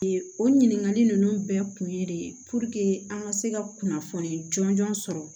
O ɲininkali ninnu bɛɛ kun ye de puruke an ka se ka kunnafoni jɔnjɔn sɔrɔ